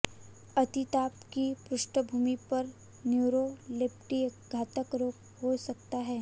अतिताप की पृष्ठभूमि पर न्यूरोलेप्टिक घातक रोग हो सकता है